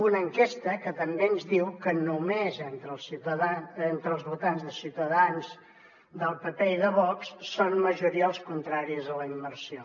una enquesta que també ens diu que només d’entre els votants de ciutadans del pp i de vox són majoria els contraris a la immersió